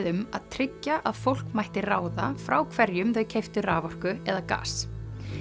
um að tryggja að fólk mætti ráða frá hverjum þau keyptu raforku eða gas